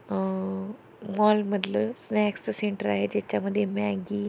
अ mall मधले snacks के centre आहे तेचा मधे मॅग्गी --